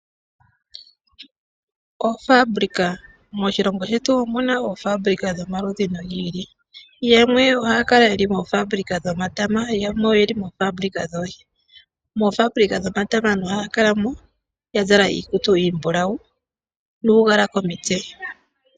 Oofabulika, moshilongo shetu omuna oofabulika dhomaludhi gi ili. Yamwe ohaya kala yeli moofabulika dhomatama, yamwe oyeli moofabulika dhoohi. Moofabulika dhomatama aantu ohaya kala mo ya zala iikutu iimbulawu nuugala komitse.